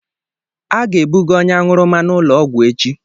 A ga-ebuga onye aṅụrụma n'ụlọ ọgwụ echi.